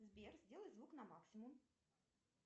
сбер сделай звук на максимум